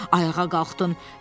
sonra ayağa qalxdın.